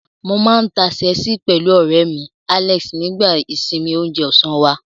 Mo máa ń ta ṣẹ́ẹ̀sì pẹ̀lú ọ̀rẹ́ mi, Alex, nígbà ìsinmi oúnjẹ ọ̀sán wá.